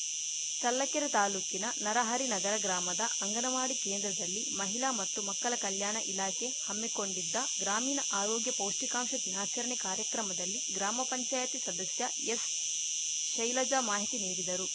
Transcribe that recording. ಚಲ್ಲಕೆರೆ ತಾಲೂಕಿನ ನರಹರಿನಗರ ಗ್ರಾಮದ ಅಂಗನವಾಡಿ ಕೇಂದ್ರದಲ್ಲಿ ಮಹಿಲಾ ಮತ್ತು ಮಕ್ಕಲ ಕಲ್ಯಾಣ ಇಲಾಖೆ ಹಮ್ಮಿಕೊಂಡಿದ್ದ ಗ್ರಾಮೀಣ ಆರೋಗ್ಯ ಪೌಷ್ಟಿಕಾಂಶ ದಿನಾಚರಣೆ ಕಾರ್ಯಕ್ರಮದಲ್ಲಿ ಗ್ರಾಮ ಪಂಚಾಯಿತಿ ಸದಸ್ಯ ಎಸ್‌ಶೈಲಜಾ ಮಾಹಿತಿ ನೀಡಿದರು